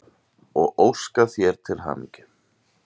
og óska þér til hamingju.